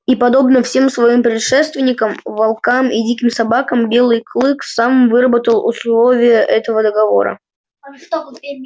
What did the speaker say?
и подобно всем своим предшественникам волкам и диким собакам белый клык сам выработал условия этого договора